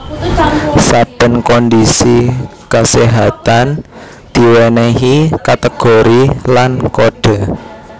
Saben kondhisi kaséhatan diwènèhi kategori lan kodhe